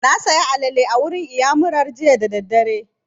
Na saya alale a wurin iyamurar jiya da daddare